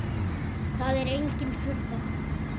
Það er engin furða.